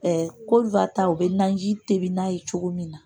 u bɛ naji tobi n'a ye cogo min na